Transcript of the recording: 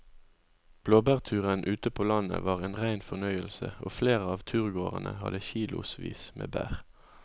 Blåbærturen ute på landet var en rein fornøyelse og flere av turgåerene hadde kilosvis med bær.